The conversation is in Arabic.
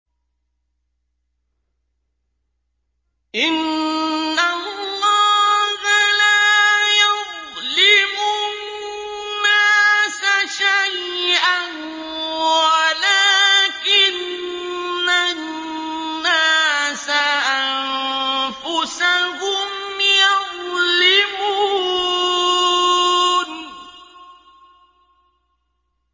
إِنَّ اللَّهَ لَا يَظْلِمُ النَّاسَ شَيْئًا وَلَٰكِنَّ النَّاسَ أَنفُسَهُمْ يَظْلِمُونَ